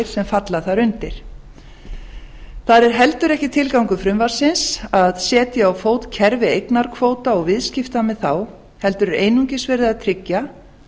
sem falla þar undir það er heldur ekki tilgangur frumvarpsins að setja á fót kerfi eignarkvóta og viðskipta með þá heldur er einungis verið að tryggja